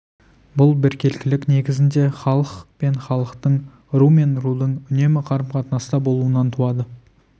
бұл біркелкілік негізінде халық пен халықтың ру мен рудың үнемі қарым-қатынаста болуынан туады